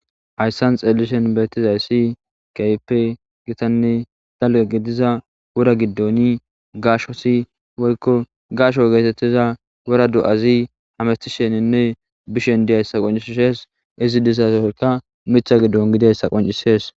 hayssan xeelishen beettizaysi keehippe gitanne dalga gidiza wura giddoni gashosi woykko gasho geetettiza wura do'azi hamestisheninne bishen diyayssa qoncishees izi disasoyka mitha giddon gidayssa qoncisees